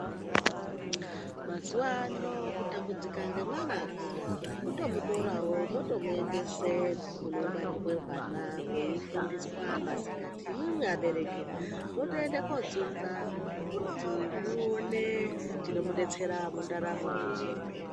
Mazuva ano kutambudzika nemwana kuda kutomutorawo motomuendesa kunongwarirwa hwana hweifundiswa masikati imwimwi abereki motoenda kotsunza kuti muone chinomudetsera mundaramo yenyu.